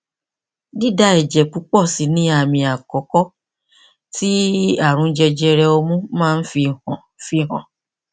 dída ẹjẹ púpọ sì ni àmì àkọkọ tí ààrùn jẹjẹrẹ ọmú máa ń fi hàn fi hàn